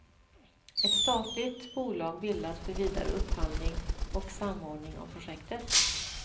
Ett statligt bolag bildas för vidare upphandling och samordning av projektet.